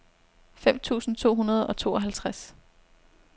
fem tusind to hundrede og tooghalvtreds